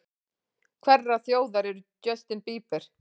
Hverrar þjóðar er Justin Bieber?